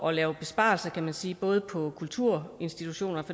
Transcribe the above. at lave besparelser kan man sige både på kulturinstitutioner